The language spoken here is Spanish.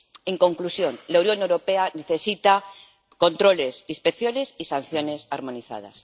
En conclusión, la Unión Europea necesita controles, inspecciones y sanciones armonizadas.